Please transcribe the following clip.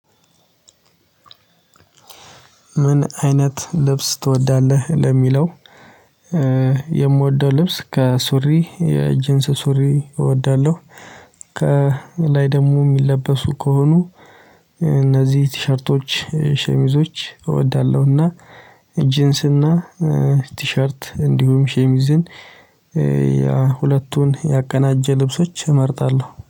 ምን አይነት ልብስ ትወዳለህ? ለሚለው የምወደው ልብስ ከሱሪ የጅንስ ሱሪ እወዳለሁ። ከ ላይ ደግሞ የሚለበሱ ከሆኑ እነዚህ ቲሸርቶች፤ ሸሚዞች እወዳለሁ። እና ጂንስ እና ቲሸርት፤ እንዲሁም ሸሚዝን ያ ሁለቱን ያቀናጀ ልብሶች እመርጣለሁ።